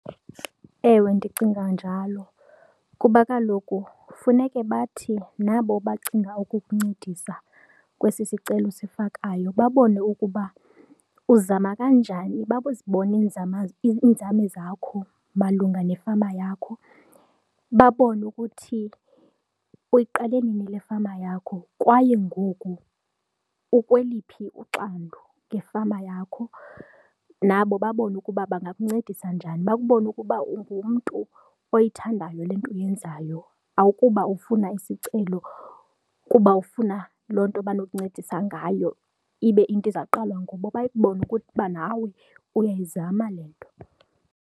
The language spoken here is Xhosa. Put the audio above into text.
Ewe, ndicinga njalo kuba kaloku funeke bathi nabo bacinga ukukuncedisa kwesi sicelo osifakayo babone ukuba uzama kanjani, bazibone iinzame, iinzame zakho malunga nefama yakho, babone ukuthi uyiqale nini le fama yakho kwaye ngoku ukweliphi uxandu ngefama yakho. Nabo babone ukuba bangakuncedisa njani, babone ukuba ungumntu oyithandayo le nto uyenzayo akuba ufuna isicelo kuba ufuna loo nto banokuncedisa ngayo ibe iyinto ezawuqalwa ngoku, bayibone ukuba nawe uyayizama le nto.